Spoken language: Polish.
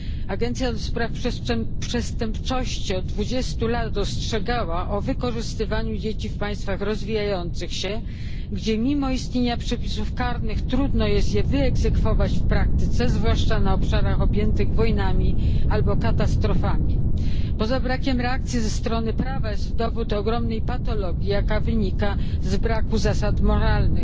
Agencja do spraw przestępczości od dwudziestu lat ostrzegała o wykorzystywaniu dzieci w państwach rozwijających się, gdzie mimo istnienia przepisów karnych trudno jest je wyegzekwować w praktyce, zwłaszcza na obszarach objętych wojnami albo katastrofami. Poza brakiem reakcji prawnej jest to dowód ogromnej patologii, jaka wynika z braku zasad moralnych.